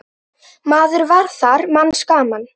Maður var þar manns gaman.